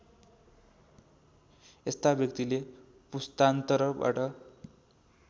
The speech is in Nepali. यस्ता व्यक्तिले पुस्तान्तरबाट